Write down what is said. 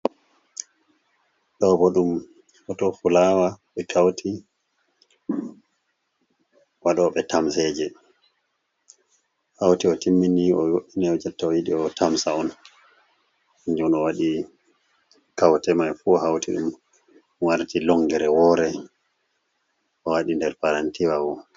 Ɗo bo ɗum hoto fulawa ɓe kauti. Waɗoɓe tamseje hauti o timmini, o wo'ini, jotta o yiɗi o tamsa on. Kanju on o waɗi kaute mai fu hauti ɗum warti longere wore, o waɗi nder paranti wa bo.